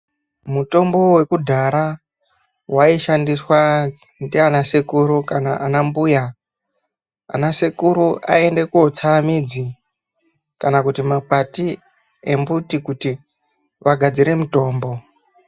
Mutombo vakudhara vaishandiswa ndiana sekuru kana anambuya. Anasekuru aienda kotsa midzi kana kuti makwati embuti kuti vagadzire mutombo.